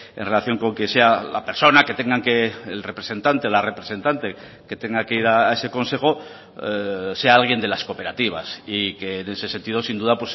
en relación con que sea la persona que tengan que el representante la representante que tenga que ir a ese consejo sea alguien de las cooperativas y que en ese sentido sin duda